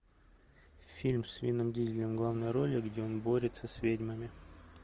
фильм с вином дизелем в главной роли где он борется с ведьмами